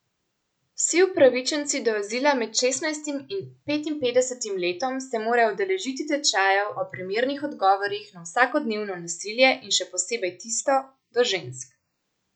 Vsi upravičenci do azila med šestnajstim in petinpetdesetim letom se morajo udeležiti tečajev o primernih odgovorih na vsakodnevno nasilje in še posebej tisto do žensk.